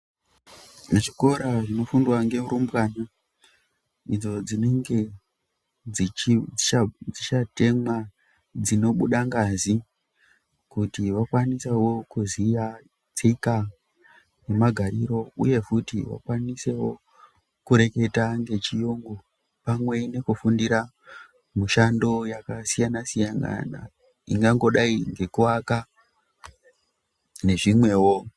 Muchikora munofundwa nerumbwana idzo dzinenge dzichatemwa nyora dzinobuda ngazi kuti vakwanise kuziya tasvika nemagariro uye futi vakwanise kureketa nechiyungu pamwe nekufundira mushando yakasiyana siyana ingangodai nekuaka nezvimwewo.